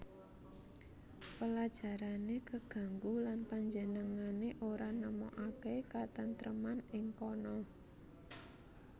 Pelajarané keganggu lan panjenengané ora nemokaké katentreman ing kana